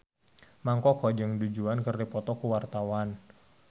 Mang Koko jeung Du Juan keur dipoto ku wartawan